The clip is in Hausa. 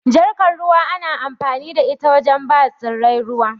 Jarkar ruwa ana amfani da ita wajen bawa tsirrai ruwa.